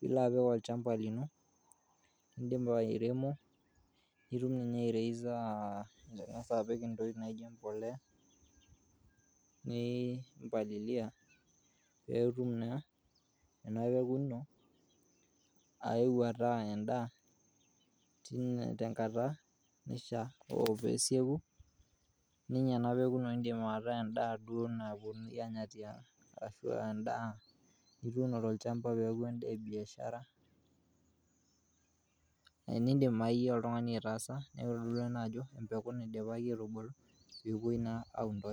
nilo apik olchamba lino lindipa airemo nitum ninye aireisa ing'as apik intokitin naijo embolea, niimpalilia pee etum naa ena peko ino aewuo ataa endaa tenkata naishaa. Ore pew esieku ninye ena peko naa indim ataa endaa duo nawuonuni aanya tiang' ashu endaa nituuno tolchamba peaku ene biashara eidim oltung'ani aitaasa ena ajo pewuoi naa.